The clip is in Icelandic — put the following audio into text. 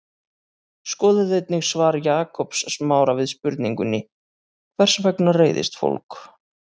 Skoðið einnig svar Jakobs Smára við spurningunni Hvers vegna reiðist fólk?